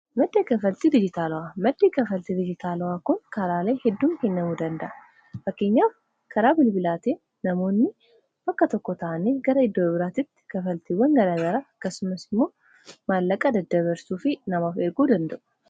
madda kafaltii dijitaalawwaa madda kafaltii dijitaalawwaa kun karaalee hedduum kennamuu danda'a. fakkenyaaf karaa bilbilaa ta'ee namoonni bakka tokko ta'ani gara iddoo biraatitti kafaltiiwwan garagara akkasumas immoo maallaqaa daddabarsuu fi namaaf erguu danda'u.